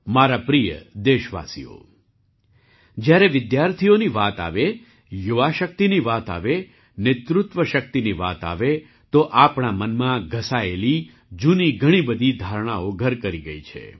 મારા પ્રિય દેશવાસીઓ જ્યારે વિદ્યાર્થીઓની વાત આવે યુવા શક્તિની વાત આવે નેતૃત્વ શક્તિની વાત આવે તો આપણા મનમાં ઘસાયેલી જૂની ઘણી બધી ધારણાઓ ઘર કરી ગઈ છે